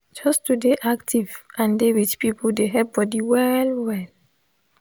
just to dey active and dey with people they help body well well